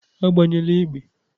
Agbanyela egbe!